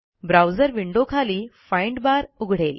browser विंडोखाली find bar उघडेल